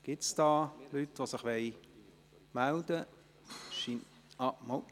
Gibt es Leute, die sich melden wollen?